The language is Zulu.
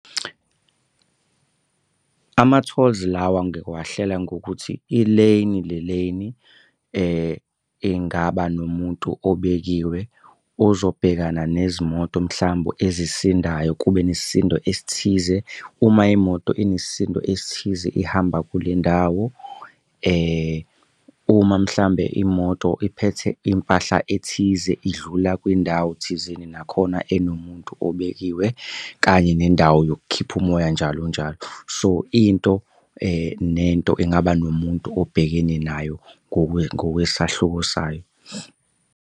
Ama-tolls lawa ngiwahlela ngokuthi i-lane ne-lane ingaba nomuntu obekiwe ozobhekana nezimoto mhlambe ezisindayo. Kube nesisindo esithize. Uma imoto inesisindo esithize ihamba kule ndawo uma mhlambe imoto iphethe impahla ethize idlula kwindawo thizeni nakhona enomuntu obekiwe kanye nendawo yokukhipha umoya, njalo njalo. So into nento engaba nomuntu obhekene nayo ngokwesahluko sayo.